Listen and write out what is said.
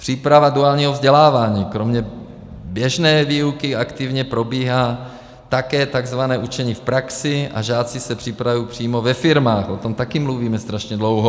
Příprava duálního vzdělávání - kromě běžné výuky aktivně probíhá také tzv. učení v praxi a žáci se připravují přímo ve firmách, o tom taky mluvíme strašně dlouho.